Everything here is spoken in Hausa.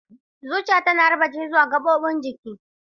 Zuciya tana harba jini zuwa gaɓoɓin jiki.